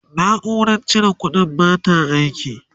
naurar cire ƙuɗin bata aiki